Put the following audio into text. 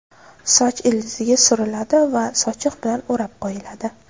Soch ildiziga suriladi va sochiq bilan o‘rab qo‘yiladi.